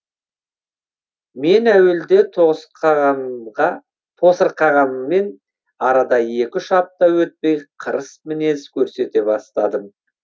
мен әуелде тосырқағанмен арада екі үш апта өтпей қырыс мінез көрсете бастадым